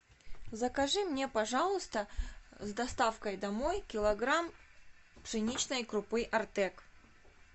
закажи мне пожалуйста с доставкой домой килограмм пшеничной крупы артек